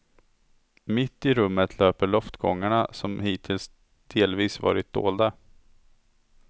Mitt i rummet löper loftgångarna, som hittills delvis varit dolda.